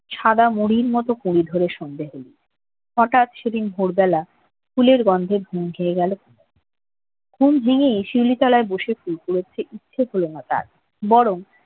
সাদা মুড়ির মতো পড়ে আছে মাটিতে হঠাৎ সেদিন ভোরবেলা ফুলের গন্ধে ঘুম খেয়ে গেল ঘুম ভেঙে শিউলি গাছের গোড়ায় বসে ফুল কুড়াচ্ছে ইচ্ছেমতো বরং